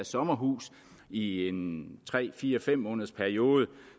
sommerhus i en tre fire fem måneders periode